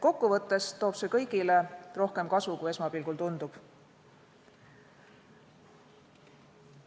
Kokkuvõttes toob see kõigile rohkem kasu, kui esmapilgul tundub.